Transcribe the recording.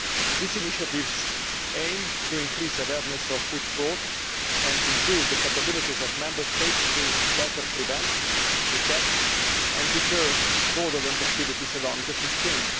These initiatives aim to increase awareness of food fraud and improve the capabilities of Member States to better prevent, detect and deter fraudulent activities along the food chain.